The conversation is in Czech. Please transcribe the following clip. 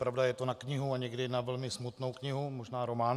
Pravda, je to na knihu, a někdy na velmi smutnou knihu, možná román.